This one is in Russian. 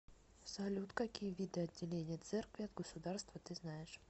салют какие виды отделение церкви от государства ты знаешь